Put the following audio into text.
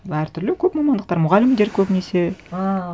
әр түрлі көп мамандықтар мұғалімдер көбінесе ааа